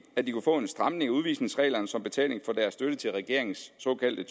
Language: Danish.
at de kunne få en stramning af udvisningsreglerne som betaling for deres støtte til regeringens såkaldte